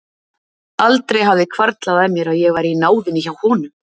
Aldrei hafði hvarflað að mér að ég væri í náðinni hjá honum!